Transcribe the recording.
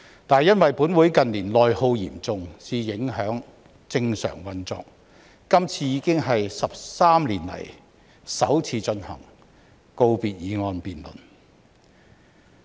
但是，因為本會近年內耗嚴重，以致影響正常運作，今次已經是13年以來首次進行告別議案辯論。